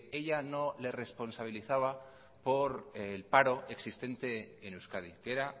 ella no le responsabilizaba por el paro existente en euskadi que era